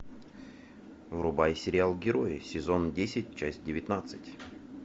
врубай сериал герои сезон десять часть девятнадцать